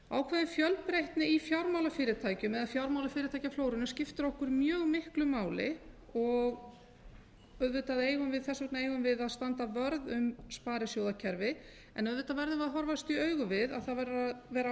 ákveðin fjölbreytni í fjármálafyrirtækjum eða fjármálafyrirtækjaflórunni skiptir okkur mjög miklu máli þess vegna eigum við að standa vörð um sparisjóðakerfið en auðvitað verðum við að horfast í augu við að það verður að vera